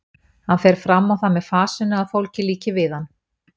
Hann fer fram á það með fasinu að fólki líki við hann.